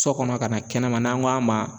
Sɔ kɔnɔ ka na kɛnɛma n'an kɔ a ma